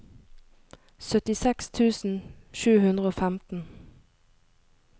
syttiseks tusen sju hundre og femten